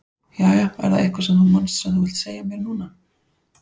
Jæja, er það eitthvað sem þú manst sem þú vilt segja mér núna?